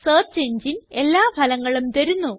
search എങ്ങിനെ എല്ലാ ഫലങ്ങളും തരുന്നു